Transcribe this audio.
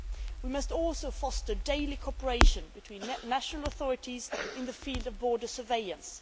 We must also foster daily cooperation between national authorities in the field of border surveillance.